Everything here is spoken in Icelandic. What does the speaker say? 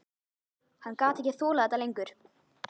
Hann gat ekki þolað þetta lengur.